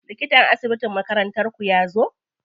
Likatan asibitin makarantar ku yazo?